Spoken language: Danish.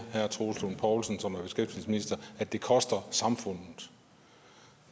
herre troels lund poulsen at det koster samfundet